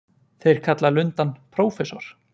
Þeir kalla lundann prófessor.